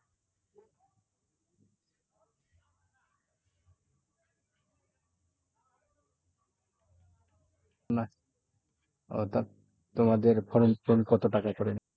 নাহ তোমাদের form পূরণ কত টাকা করে?